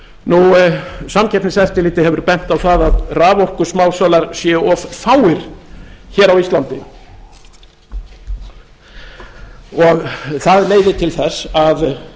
á norðurlöndum samkeppniseftirlitið hefur bent á það að raforkusmásalar séu of fáir hér á íslandi og það leiði til þess að